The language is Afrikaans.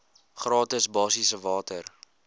gratis basiese water